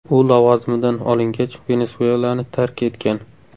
U lavozimidan olingach, Venesuelani tark etgan.